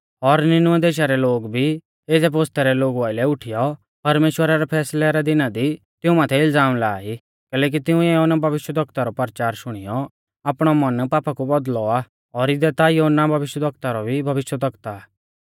और निनवे देशा रै लोग भी एज़ै पोसतै रै लोगु आइलै उठीयौ परमेश्‍वरा रै फैसलै रै दिना दी तिऊं माथै इलज़ाम ला ई कैलैकि तिंउऐ योना भविष्यवक्ता रौ परचार शुणियौ आपणौ मन पापा कु बौदल़ौ आ और इदै ता योना भविष्यवक्ता रौ भी भविष्यवक्ता आ